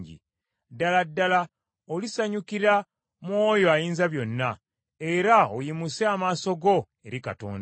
Ddala ddala olisanyukira mu oyo Ayinzabyonna era oyimuse amaaso go eri Katonda.